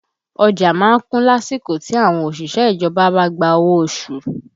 Ọjà má ń kún lásìkò tí àwọn òṣìṣẹ́ ìjọba bá gba owó oṣù